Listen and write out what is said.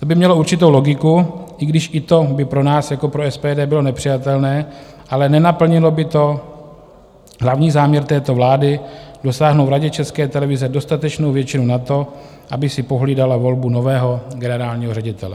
To by mělo určitou logiku, i když i to by pro nás jako pro SPD bylo nepřijatelné, ale nenaplnilo by to hlavní záměr této vlády dosáhnout v Radě České televize dostatečnou většinu na to, aby si pohlídala volbu nového generálního ředitele.